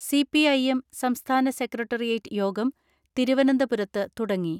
CPIM സംസ്ഥാന secretariat യോഗം തിരുവന ന്തപുരത്ത് തുടങ്ങി.